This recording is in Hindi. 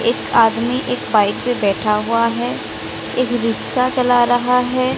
एक आदमी एक बाइक पे बैठा हुआ हैं। एक रिक्षा चला रहा हैं।